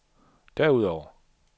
derudover